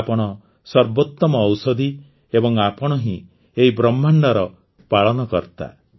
ଆପଣ ସର୍ବୋତ୍ତମ ଔଷଧି ଏବଂ ଆପଣ ହିଁ ଏହି ବ୍ରହ୍ମାଣ୍ଡର ପାଳନକର୍ତ୍ତା